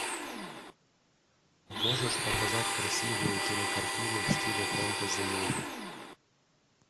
можешь показать красивую кинокартину в стиле фэнтези муви